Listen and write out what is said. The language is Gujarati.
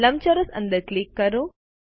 લંબચોરસ અંદર ક્લિક કરો